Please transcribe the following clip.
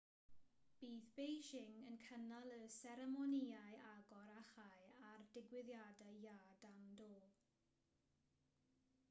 bydd beijing yn cynnal y seremonïau agor a chau a'r digwyddiadau iâ dan do